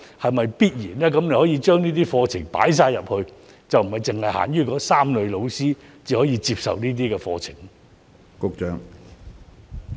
局長可否將相關課程納入培訓中，而不是限於那3類教師才可以接受這些課程？